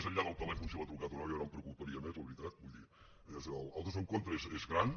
més enllà del telèfon si l’ha trucat o no jo no em preocuparia més la veritat vull dir el desencontre és gran